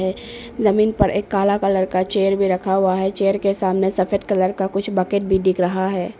जमीन पर एक काला कलर का चेयर भी रखा हुआ है चेयर के सामने सफेद कलर का कुछ बकेट भी दिख रहा है।